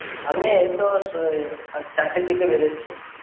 আমি এইতো চারটের দিকে এই বেরোচ্ছি।